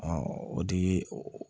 o de ye